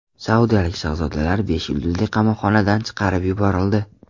Saudiyalik shahzodalar besh yulduzli qamoqxonadan chiqarib yuborildi.